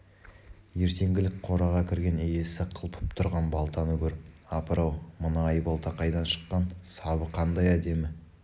ертеңгілік қораға кірген иесі қылпып тұрған балтаны көріп апыр-ау мына айбалта қайдан шыққан сабы қандай әдемі